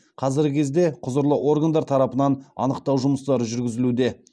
қазіргі кезде құзырлы органдар тарапынан анықтау жұмыстары жүргізілуде